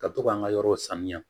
Ka to k'an ka yɔrɔw saniya